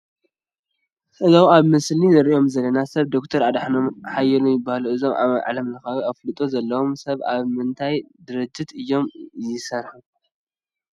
እዞም ኣብ ምስሊ ንሪኦም ዘለና ሰብ ዶክተር ኣድሓኖም ሃይለ ይበሃሉ፡፡ እዞብ ዓለምለኻዊ ኣፍልጦ ዘለዎም ሰብ ኣብ ምንታይ ድርጅት እዮም ይሰርሑ?